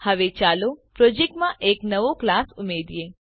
હવે ચાલો પ્રોજેક્ટમાં એક નવો ક્લાસ ઉમેરીએ